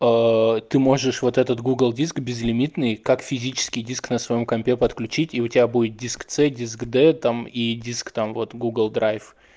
ты можешь вот этот гугл диск безлимитный как физический диск на своём компе подключить и у тебя будет диск ц диск д там и диск там вот гугл драйв